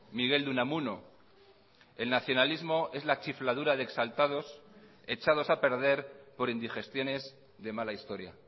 miguel de unamuno el nacionalismo es la chifladura de exaltados echados a perder por indigestiones de mala historia